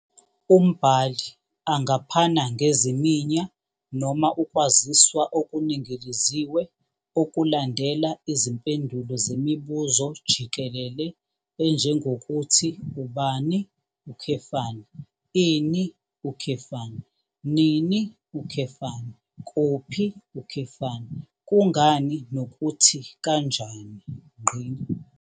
Umbhali angaphana ngeziminya noma ukwaziswa okuningiliziwe okulandela izimpendulo zemibuzo jikelele enjengokuthi ubani, ini, nini, kuphi, kungani nokuthi kanjani.